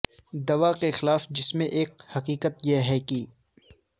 دوا کے خلاف ہے جس میں ایک حقیقت یہ ہے کہ